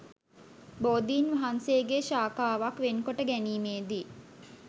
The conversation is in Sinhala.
බෝධීන් වහන්සේගේ ශාඛාවක් වෙන් කොට ගැනීමේදී